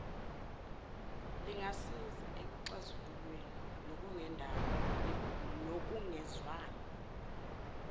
lingasiza ekuxazululeni kokungezwani